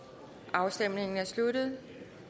afstemningen er sluttet